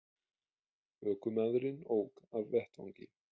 Ökumaðurinn ók af vettvangi